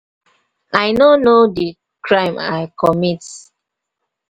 i no know the crime i comit.